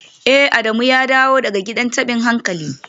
Eh Adamu ya dawo daga gidan tabin hankali